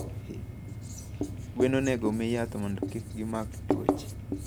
gwen onegomii yath mondo kigimak twuoche.